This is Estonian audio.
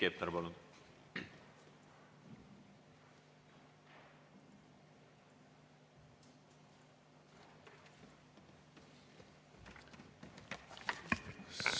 Heiki Hepner, palun!